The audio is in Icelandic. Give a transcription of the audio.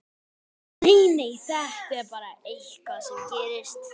Nei, nei, þetta er bara eitthvað sem gerist.